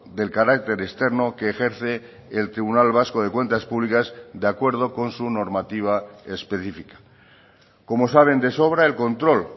del carácter externo que ejerce el tribunal vasco de cuentas públicas de acuerdo con su normativa específica como saben de sobra el control